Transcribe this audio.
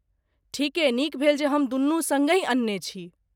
ठीके नीक भेल जे हम दुनू सङ्गहि अनने छी।